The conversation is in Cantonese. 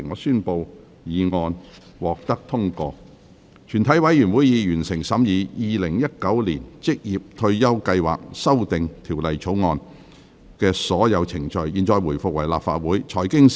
全體委員會已完成審議《2019年職業退休計劃條例草案》的所有程序。現在回復為立法會。